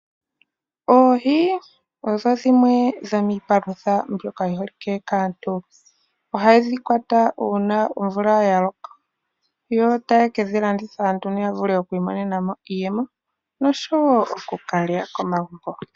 Oohi odho dhimwe dhomiipalutha mbyoka yi holike kaantu. Ohadhi kwatwa uuna omvula ya loka. Yo teya ke dhi landitha nduno ya vule oku imonena mo iiyemo, noshowo oku ka lya komagumbo.